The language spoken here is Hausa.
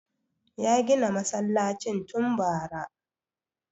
Ya gina masallacin tun bara